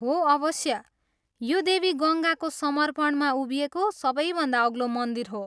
हो अवश्य। यो देवी गङ्गाको समर्पणमा उभिएको सबैभन्दा अग्लो मन्दिर हो।